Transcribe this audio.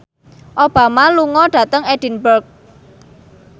Obama lunga dhateng Edinburgh